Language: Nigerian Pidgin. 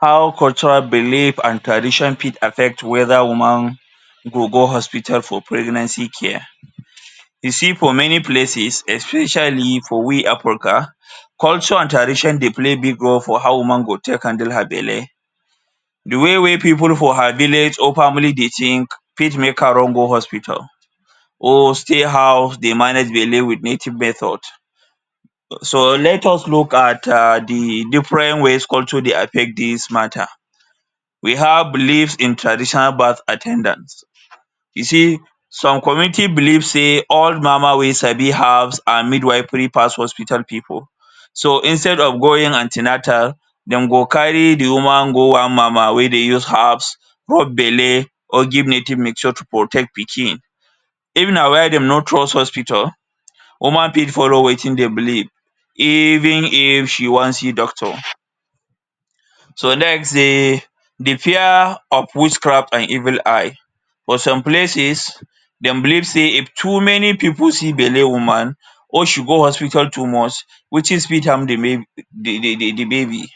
How cultural belief and tradition fit affect weda woman go go hospital for pregnancy care. You see, for many places especially for we Africa, culture and tradition dey play big role for how woman go take handle her belle. Di way wey pipu for her village or family dey think fit make her run go hospital or stay house dey manage belle wit native methods. So, let us look at um di different ways culture dey affect dis mata. We have beliefs in traditional birth at ten dants. You see, some community believe sey all mama wey sabi herbs and midwifery pass hospital pipu. So, instead of going an ten atal, dem go carry di woman go one mama wey dey use herbs rub belle or give native mixture to protect pikin. Even na why dem no trust hospital. Human being follow wetin dey believe even if she wan see doctor so dem sey di fear of witchcraft and evil eye. For some places, dem believe sey if too many pipu see belle woman or she go hospital too much am dey make di di di babi.